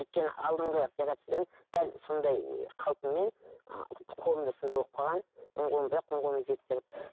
өйткені алдыңғы операциядан дәл сондай қалпыммен ы қолым да сондай болып қалған оң қолым түзеп береді